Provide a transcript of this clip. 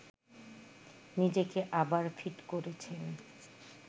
নিজেকে আবার ফিট করেছেন